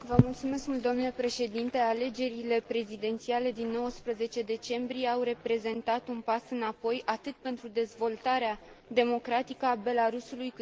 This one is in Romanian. Alegerile prezidențiale din 19 decembrie au reprezentat un pas înapoi, atât pentru dezvoltarea democratică a Belarusului, cât și în relațiile cu UE.